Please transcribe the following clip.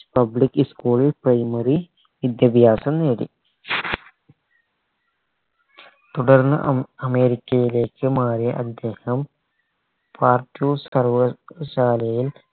public school ൽ primary വിദ്യാഭ്യാസം നേടി തുടർന്ന് അം അമേരിക്കയിലേക്ക് മാറിയ അദ്ദേഹം പാർത്ലൂസ് സർവ്വ ശാലയിൽ